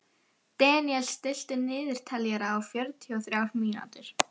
Deníel, stilltu niðurteljara á fjörutíu og þrjár mínútur.